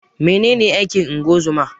Menene aikin ungozoma?